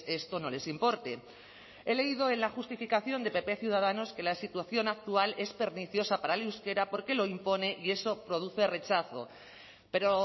esto no les importe he leído en la justificación de pp ciudadanos que la situación actual es perniciosa para el euskera porque lo impone y eso produce rechazo pero